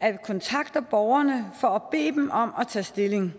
at kontakte borgerne for at bede dem om at tage stilling